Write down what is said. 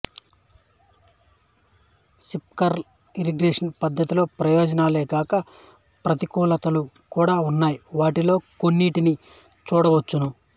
sprinkler irrigation పద్ధతిలో ప్రయోజనాలేగాక ప్రతికూలతలు కూడా ఉన్నాయి వాటిలో కొన్నింటిని చూడవచ్చును